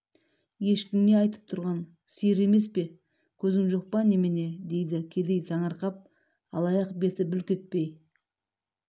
ешкің не айтып тұрған сиыр емес пе көзің жоқ па немене дейді кедей таңырқап алаяқ бет бүлк етпей